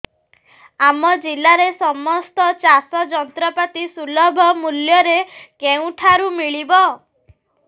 ଆମ ଜିଲ୍ଲାରେ ସମସ୍ତ ଚାଷ ଯନ୍ତ୍ରପାତି ସୁଲଭ ମୁଲ୍ଯରେ କେଉଁଠାରୁ ମିଳିବ